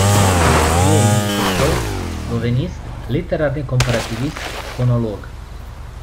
Je jezikoslovec, slovenist, literarni komparativist, fonolog.